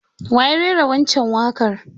Wa ya rera waccan waƙar?